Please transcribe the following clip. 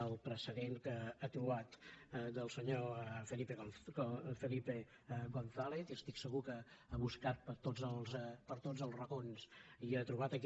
el precedent que ha trobat del senyor felipe gonzález i estic segur que ha buscat per tots els racons i ha trobat aquest